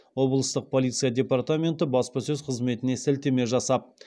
облыстық полиция департаменті баспасөз қызметіне сілтеме жасап